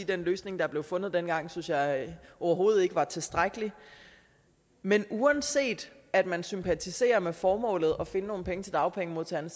den løsning der blev fundet dengang synes jeg overhovedet ikke var tilstrækkelig men uanset at man sympatiserer med formålet om at finde nogle penge til dagpengemodtagerne